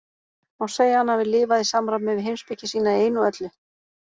Má segja að hann hafi lifað í samræmi við heimspeki sína í einu og öllu.